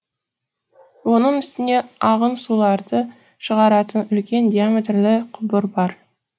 оның үстіне ағын суларды шығаратын үлкен диаметрлі құбыр бар